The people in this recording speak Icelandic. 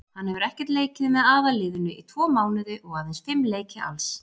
Hann hefur ekkert leikið með aðalliðinu í tvo mánuði og aðeins fimm leiki alls.